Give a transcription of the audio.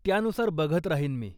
त्यानुसार बघत राहीन मी.